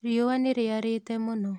Riũa nĩrĩarĩte mũno.